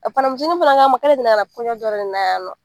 A ncini fana k'a ma k'ale delila ka na kɔɲɔn dɔ de la yan nɔ